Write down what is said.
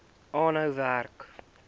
aanhou werk